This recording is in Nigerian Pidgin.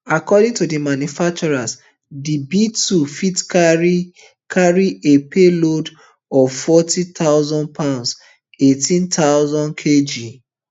according to di manufacturer di btwo fit carry carry a payload of forty thousand pounds eighteen thousand kg